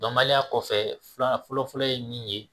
Dɔnbaliya kɔfɛ filanan fɔlɔ fɔlɔ ye min ye